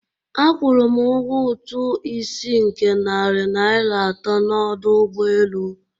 Akwụrụ m ụgwọ ụtụ isi nke narị naira atọ n'ọdụ ụgbọ elu.